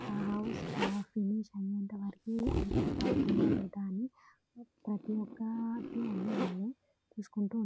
ఆ హౌస్ ఆ ఫినిష్ అయేంత వరకు అది కరెక్ట్ అవుతుందా లేదా అని ప్రతి ఒక్కటి అన్ని వాళ్లే చూసుకుంటూ ఉం --